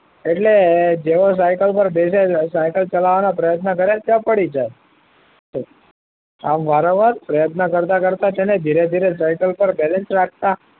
એટલે જેવો સાયકલ ઉપર બેસે છે સાયકલ ચલાવવાના પ્રયત્ન કરે ત્યાં પડી જાય છે આમ વારંવાર પ્રયત્ન કરતા કરતા છે ને ધીરે ધીરે સાયકલ પર બેલેન્સ રાખતા